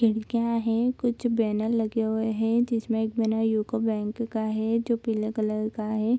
खिड़कियाँ हैं कुछ बैनर लगे हुए हैं जिसमें एक बैनर यूको बैंक का है जो पीला कलर का है।